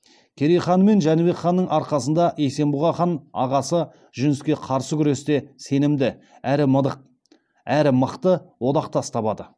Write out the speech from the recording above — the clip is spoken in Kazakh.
керей хан мен жәнібек ханның арқасында есенбұға хан ағасы жүніске қарсы күресте сенімді әрі мықты одақтас табады